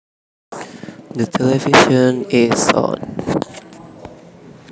The television is on